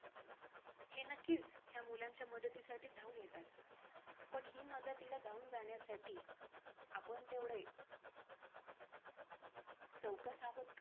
आत्तापर्यंत असं मोजू शकतं नाय ना दिवसात खूप सारे येतात एका दिवशात किती कमीत कमी पन्नास च्या वरचे तरी गेले असतील .